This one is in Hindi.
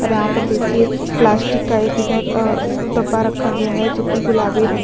और यहाँ पर देखिए प्लास्टिक का इधर अ डब्बा रखा गया है जो कि गुलाबी रंग--